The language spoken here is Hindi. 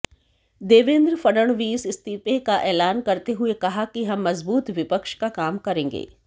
देवेंद्र फडणवीस इस्तीफे का एलान करते हुए कहा कि हम मजबूत विपक्ष का काम करेंगे